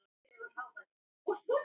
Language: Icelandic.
Orð hennar ekki heldur.